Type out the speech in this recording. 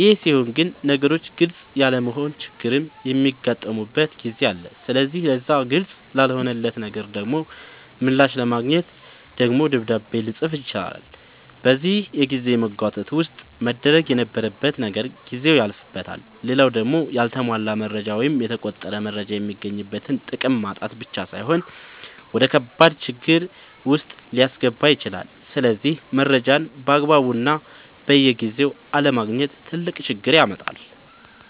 ይሄ ሲሆን ግን ነገሮች ግልፅ ያለመሆን ችግርም የሚያጋጥምበት ጊዜ አለ ስለዚህ ለዛ ግልፅ ላልሆነለት ነገር ደሞ ምላሽ ለማግኘት ደግሞ ደብዳቤ ልፅፍ ይችላል በዚህ የጊዜ መጓተት ውስጥ መደረግ የነበረበት ነገር ጊዜው ያልፍበታል። ሌላው ደሞ ያልተሟላ መረጃ ወይም የተቆረጠ መረጃ የሚገኝበትን ጥቅም ማጣት ብቻ ሳይሆን ወደከባድ ችግር ዉስጥ ሊያስገባ ይችላል ስለዚህ መረጃን ባግባቡና በጊዜው አለማግኘት ትልቅ ችግር ያመጣል